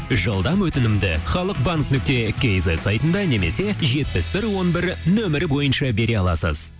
жылдам өтінімді халық банк нүкте кизет сайтында немесе жетпіс бір он бір нөмірі бойынша бере аласыз